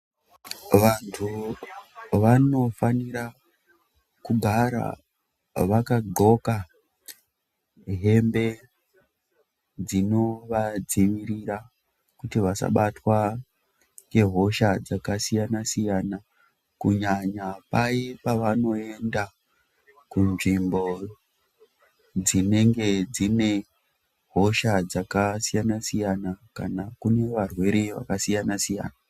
Vantu vanofanira kugara vakandxoka hembe dzinovadzivirira kuti vasabatwa ngehosha dzakasiyana siyana kunyanya paye pavanoenda kunzvimbo dzinenge dzine hosha dzakasiyana siyana kana kune varwere vakasiyana siyana.